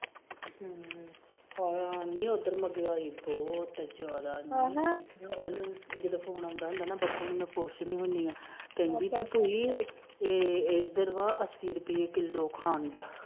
ਹਮ ਪਤਾ ਨੀ ਉਧਰ ਤੇ ਗਈ ਦੋ ਤੇ ਚੋਦਾ ਨੀ ਉਹਨੂੰ ਜਦੋ ਫੋਨ ਆਂਦਾ ਨਾ ਬੱਬੂ ਨੂੰ ਮੈ ਪੁਛਦੀ ਹੁੰਦੀ ਆ ਕਹਿੰਦੀ ਭੂਈ ਇਧਰ ਆ ਅੱਸੀ ਰੁਪਏ ਕਿਲੋ ਖੰਡ